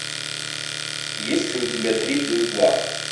есть ли у тебя три плюс два